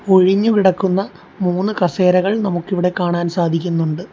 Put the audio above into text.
ഒഴിഞ്ഞ് കിടക്കുന്ന മൂന്ന് കസേരകൾ നമുക്കിവിടെ കാണാൻ സാധിക്കുന്നുണ്ട്.